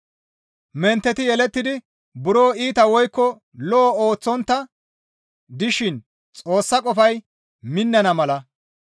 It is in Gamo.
Mentteti yelettidi buro iita woykko lo7o ooththontta dishin Xoossa qofay minnana mala,